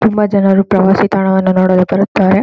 ತುಂಬಾ ಜನರು ಪ್ರವಾಸಿ ತಾಣವನ್ನು ನೋಡಲು ಬರುತ್ತಾರೆ.